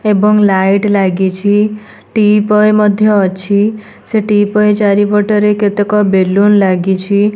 ଏବଂ ଲାଇଟ୍ ଲାଗିଛି ଟିପଏ ମଧ୍ୟ ଅଛି ସେ ଟିପଏ ଚାରିପଟରେ କେତେକ ବେଲୁନ୍ ଲାଗିଛି।